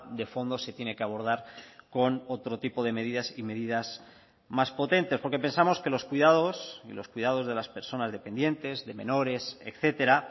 de fondo se tiene que abordar con otro tipo de medidas y medidas más potentes porque pensamos que los cuidados y los cuidados de las personas dependientes de menores etcétera